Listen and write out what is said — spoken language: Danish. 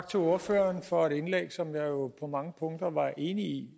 til ordføreren for et indlæg som jeg jo på mange punkter var enig i